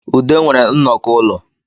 Ude nwere nnoko ụlọ